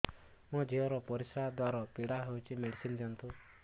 ମୋ ଝିଅ ର ପରିସ୍ରା ଦ୍ଵାର ପୀଡା ହଉଚି ମେଡିସିନ ଦିଅନ୍ତୁ